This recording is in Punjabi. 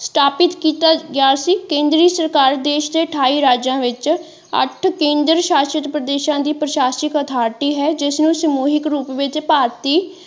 ਸਥਾਪਿਤ ਕੀਤਾ ਗਿਆ ਸੀ ਕੇਂਦਰੀ ਸਰਕਾਰ ਦੇਸ਼ ਦੇ ਅਠਾਈ ਰਾਜਾਂ ਵਿੱਚ ਅੱਠ ਕੇਂਦਰ ਸ਼ਾਸਿਤ ਪ੍ਰਦੇਸ਼ਾਂ ਦੀ ਪ੍ਰਸ਼ਾਸਿਨਕ ਅਥਾਰਿਟੀ ਹੈ ਜਿਸ ਨੂੰ ਸਮੂਹਿਕ ਰੂਪ ਵਿੱਚ ਭਾਰਤੀ।